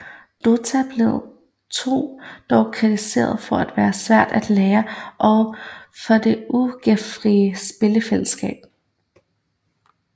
Dota 2 blev dog kritiseret for at være svært at lære og for det ugæstfri spilfællesskab